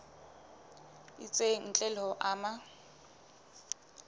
itseng ntle le ho ama